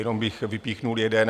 Jenom bych vypíchl jeden.